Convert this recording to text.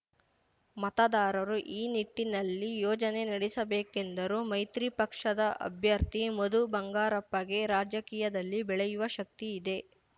ಮತದಾರರು ಈ ನಿಟ್ಟಿನಲ್ಲಿ ಯೋಚನೆ ನಡೆಸಬೇಕೆಂದರು ಮೈತ್ರಿ ಪಕ್ಷದ ಅಭ್ಯರ್ಥಿ ಮಧುಬಂಗಾರಪ್ಪಗೆ ರಾಜಕೀಯದಲ್ಲಿ ಬೆಳೆಯುವ ಶಕ್ತಿ ಇದೆ